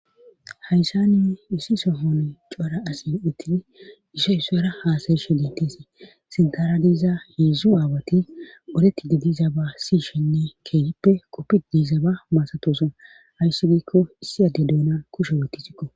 hayssani issi sohon cphara asi uttidi ishey ssoyera haasayishe diintesi sintaradiiza heedzdzu aawati oretti didiza ba siyishenne keegippe qoppid diiza ba maasatosan hayssi giikko issi adde duunan kushe wotti sikko